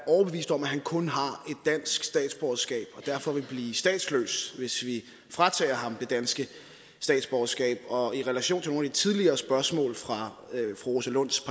overbevist om at han kun har dansk statsborgerskab og derfor vil blive statsløs hvis vi fratager ham det danske statsborgerskab og i relation til nogle tidligere spørgsmål fra fru rosa lunds